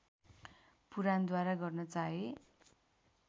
पुराणद्वारा गर्न चाहे